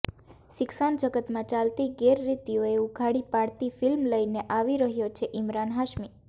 શિક્ષણ જગતમાં ચાલતી ગેરરિતીઓને ઉઘાડી પાડતી ફિલ્મ લઇને આવી રહ્યો છે ઇમરાન હાશ્મી